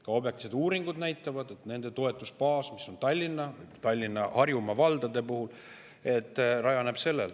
Ka objektiivsed uuringud näitavad, et nende toetusbaas, mis on Tallinnas ja Harjumaa valdades, rajaneb sellel.